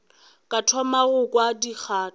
ka thoma go kwa dikgato